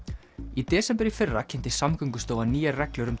í desember í fyrra kynnti Samgöngustofa nýjar reglur um